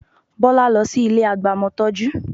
Bọ́lá lọ sí ilé agbamọtọ́jú